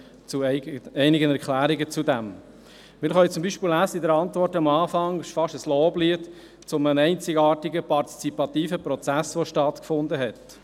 Dazu einige Erklärungen: Wir können am Anfang der Antwort etwas lesen, das fast wie ein Loblied auf einen einzigartigen partizipativen Prozess aussieht, welcher stattgefunden habe.